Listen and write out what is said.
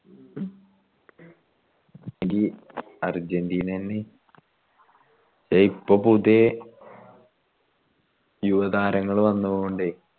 ഈ അർജന്റീനെന്ന് യെ ഇപ്പൊ പുതിയെ യുവത്താരങ്ങൾ വന്ന് പോവണ്ടേ